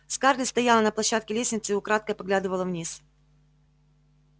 скарлетт стояла на площадке лестницы и украдкой поглядывала вниз